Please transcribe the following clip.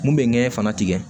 Mun bɛ ŋɛɲɛ fana tigɛ